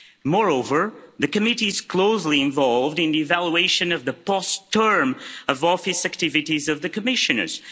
Moreover, the committee is closely involved in the evaluation of the post-term of office activities of the Commissioners.